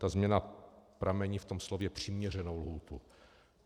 Ta změna pramení v tom slově přiměřenou lhůtu.